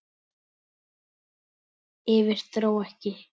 Yfir- dró ekki!